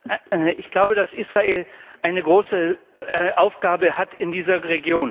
Ich glaube, dass Israel eine große Aufgabe hat in dieser Region.